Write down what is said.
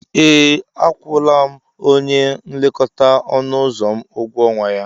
Ee, akwụla m onye nlekọta ọnụ ụzọ m ụgwọ ọnwa ya.